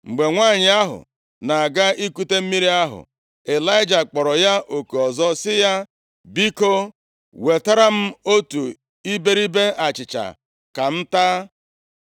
Mgbe nwanyị ahụ na-aga ikute mmiri ahụ, Ịlaịja kpọrọ ya oku ọzọ sị ya, “Biko, wetara m otu iberibe achịcha ka m taa.”